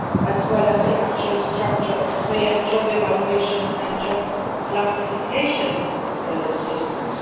as well as the actual structure of pay and job evaluation and job classification systems.